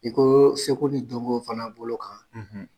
I ko seko ni donko fana bolo kan;